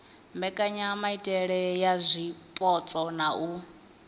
mbekanyamaitele ya zwipotso na u